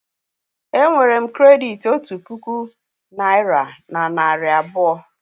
È nwere m krèditi otu puku naị́ra na narị abụọ